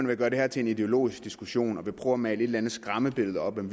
vil gøre det her til en ideologisk diskussion og vil prøve at male et eller andet skræmmebillede op om